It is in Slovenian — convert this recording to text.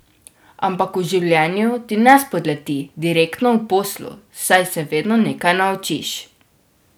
Ampak v življenju ti ne spodleti direktno v poslu, saj se vedno nekaj naučiš.